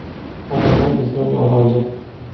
Odamlar bizdan norozi.